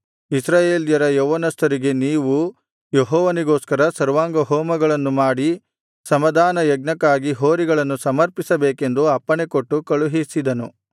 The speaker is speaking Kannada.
ಇಸ್ರಾಯೇಲರ ಯೌವನಸ್ಥರಿಗೆ ನೀವು ಯೆಹೋವನಿಗೋಸ್ಕರ ಸರ್ವಾಂಗಹೋಮಗಳನ್ನು ಮಾಡಿ ಸಮಾಧಾನ ಯಜ್ಞಕ್ಕಾಗಿ ಹೋರಿಗಳನ್ನು ಸಮರ್ಪಿಸಬೇಕೆಂದು ಅಪ್ಪಣೆಕೊಟ್ಟು ಕಳುಹಿಸಿದನು